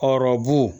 Hɔrɔnbu